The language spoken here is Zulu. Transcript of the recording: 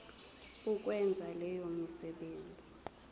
ukwenza leyo misebenzi